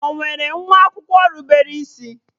Ọ nwere nwa akwụkwọ rubere isi?